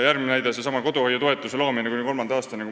Järgmine näide: koduhoiutoetuse loomine kuni lapse kolmanda eluaastani.